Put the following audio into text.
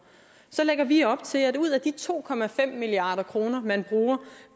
så lægger vi op til at der ud af de to milliard kroner man bruger